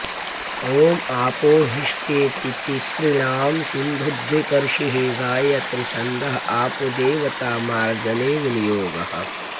ॐ आपोहिष्ठेति तिसृणां सिन्धुद्विप ऋषिः गायात्रिछ्न्दः आपोदेवता मार्जने विनियोगः